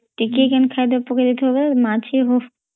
ଟିକେ କେନ ଖାଇଦେଇ ପକିଦେଇଥିବା ମଚୀ ହୋ